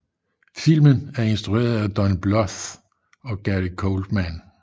Filmen er instrueret af Don Bluth og Gary Goldman